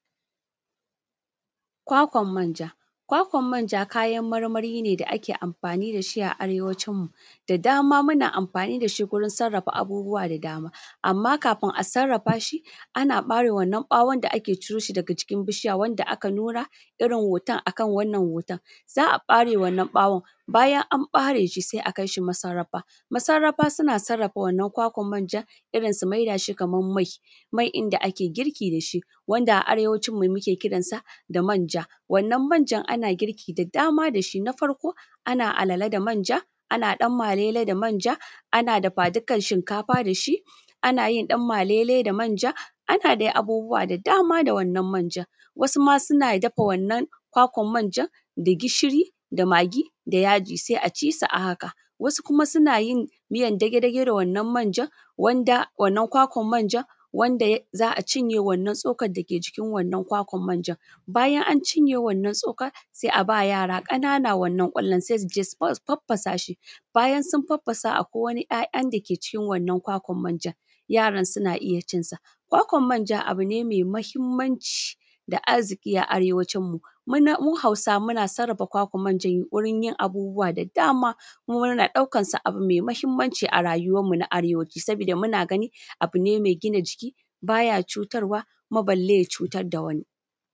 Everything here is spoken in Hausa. Kwakwan manja, kwakwan manja, kayan marmari ne da muke amfani da shi a Arewacinmu da dama, muna amfani da shi a wajen sarrafa abubuwa da dama. Amma kafin a sarrafa shi, a ɓare wannan ɓawon da ake ciro shi jikin bishiya wanda nura irin hoton akan wannan hoto, za a ɓare wannan ɓawon. In an bare shi, sai a kai shi masarrafa. Masarrafa suna sarrafa wannan kwakwan manja, su maidashi kaman mai, wanda ake girki da shi wanda a Arewacinmu, muke kiran shi da manja. Wannan manjan ana girki da dama da shi: na farko ana alale da manja, ana danmalele da manja. Ana dafa dikan shinkafa da shi. Ana danmalele da manja, da dai abubuwa da dama da wannan manjan. ana ɗanmalele da manʤa da dai abubuwa da dama da wannan manʤan wasu matan gida suna dafa wannan kwakwan manja da gishiri, da magi, da yaji, sai a ci sa haka. Wasu kuma suna yin miyan dage-dage da wannan manja. Wannan kwakwan manja, wanda za a cinye wannan cokan dake jikin kwakwan manja, bayan an cinye wannan cokan, sai a ba yara ƙanana wannan ƙwallon, su je su farfasa shi. Bayan sun farfasa, akwai wani ‘ya’ya dake cikin wannan kwakwa, yaran suna iya cin shi. Kwakwan manja abu ne me mahimmanci da arziki a Arewacinmu. Mu Hausawa, muna sarrafa kwakwan manja wurin yin abubuwa da dama. Mu muna ɗaukan shi abu ne me mahimmanci a rayuwanmu na Arewaci, saboda muna gani abu ne mai gina jiki, baya cutarwa, balle ya cutar da wani.